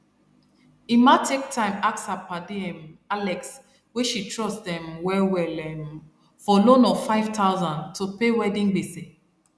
emma take time ask her padi um alex wey she trust um well well um for loan of five thousand to pay wedding gbese